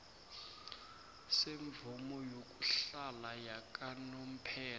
semvumo yokuhlala yakanomphela